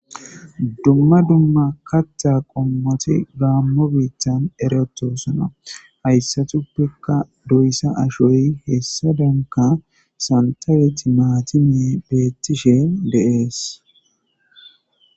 dumma dumma kaththa qommoti gaammo biittan eretosana hayssatuppekka doyssa ashoy hessadenka santay timaatime beettishe de'ees